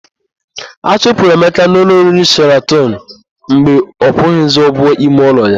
A chụpụrụ Emeka na ụlọ oriri Sheratọn mgbe ọ kwụnwuzighi ụgwọ ime ụlọ ya.